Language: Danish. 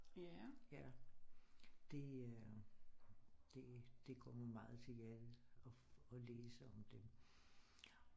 Ja det øh det går mig meget til hjertet og læse om dem